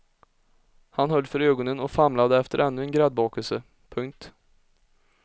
Hon höll för ögonen och famlade efter ännu en gräddbakelse. punkt